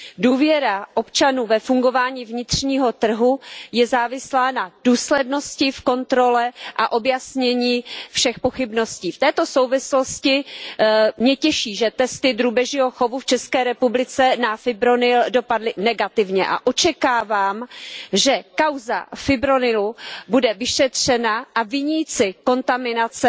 Důvěra občanů ve fungování vnitřního trhu je závislá na důslednosti v kontrole a objasnění všech pochybností. V této souvislosti mě těší, že testy drůbežího chovu v České republice na fipronil dopadly negativně, a očekávám, že kauza fipronilu bude vyšetřena a viníci kontaminace